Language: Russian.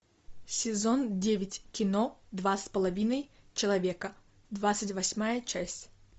сезон девять кино два с половиной человека двадцать восьмая часть